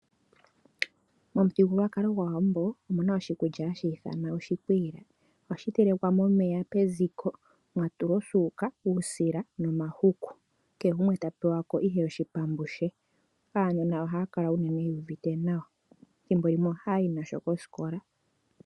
Momuthigululwakalo gwAashiwambo omuna oshikulya hashi ithanwa oshikwiila hashi telekwa momeya peziko mwatulwa osuuka, uusila nomahuku. Kehe gumwe tapewako ihe oshipambu she. Aanonona ohaya kala unene yuuvite nawa, ethimbo limwe oha ya yi nasho kosikola.